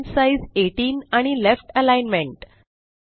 font size 18 आणि left alignment